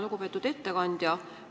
Lugupeetud ettekandja!